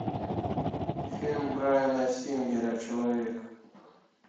фильм брайана сингера человек